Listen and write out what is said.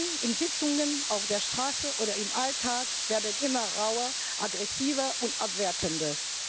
Die Debatten in Sitzungen, auf der Straße oder im Alltag werden immer rauer, aggressiver und abwertender.